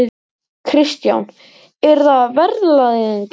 Kristján: Er það verðlagningin?